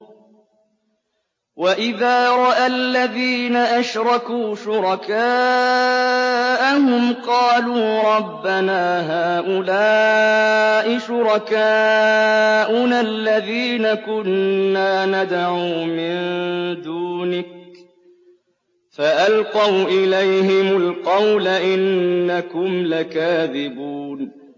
وَإِذَا رَأَى الَّذِينَ أَشْرَكُوا شُرَكَاءَهُمْ قَالُوا رَبَّنَا هَٰؤُلَاءِ شُرَكَاؤُنَا الَّذِينَ كُنَّا نَدْعُو مِن دُونِكَ ۖ فَأَلْقَوْا إِلَيْهِمُ الْقَوْلَ إِنَّكُمْ لَكَاذِبُونَ